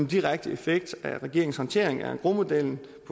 direkte effekt af regeringens håndtering af engrosmodellen